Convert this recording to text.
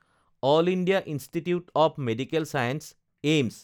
L India institute of medical science (AIIMS)